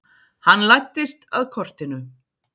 Hann læddist að kortinu.